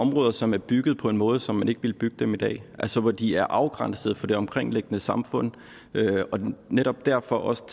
områder som er bygget på en måde som man ikke ville bygge dem på i dag altså hvor de er afgrænset fra det omkringliggende samfund og netop derfor også